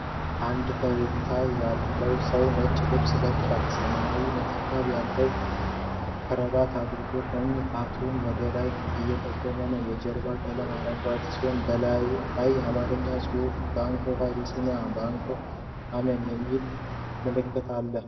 አንድ ፈገግታ ያለው ሰው ነጭ ልብስ ለብሶ፣ ሰማያዊ ነጠብጣብ ያለው ክራባት አድርጎ ቀኝ ጣቱን ወደ ፊት እየጠቆመ ነው። የጀርባው ቀለም አረንጓዴ ሲሆን፣ በላዩ ላይ የአማርኛ ጽሑፎችና "Bank of Abyssinia" እና "Abyssinia Ameen" የሚሉ ምልክቶች አሉ።